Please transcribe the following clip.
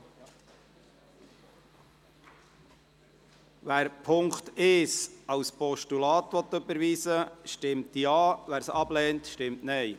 Wer den Punkt 1 als Postulat überweisen will, stimmt Ja, wer dies ablehnt, stimmt Nein.